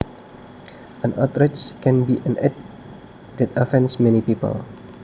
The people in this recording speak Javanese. An outrage can be an act that offends many people